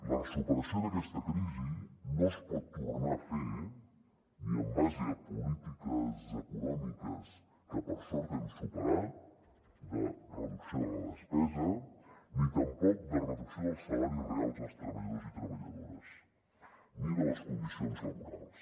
la superació d’aquesta crisi no es pot tornar a fer ni en base a polítiques econòmiques que per sort hem superat de reducció de la despesa ni tampoc de reducció dels salaris reals dels treballadors i treballadores ni de les condicions laborals